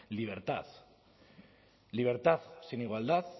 libertad libertad sin igualdad